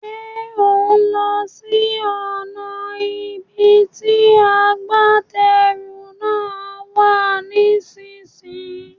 Ṣé òún lọ sí ọ̀nà ibi tí agbátẹrù náà wà nísìsiyìí?